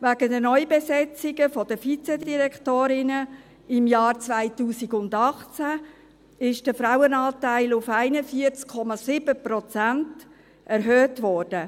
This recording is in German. Wegen den Neubesetzungen der Vizedirektorinnen im Jahr 2018 ist der Frauenanteil auf 41,7 Prozent erhöht worden.